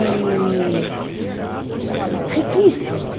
E... riquíssima.